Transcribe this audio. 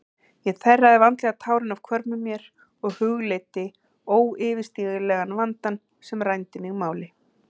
Ég þerraði vandlega tárin af hvörmum mér og hugleiddi óyfirstíganlegan vandann sem rændi mig máli.